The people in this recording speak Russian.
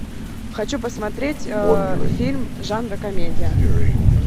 хочу посмотреть фильм жанра комедия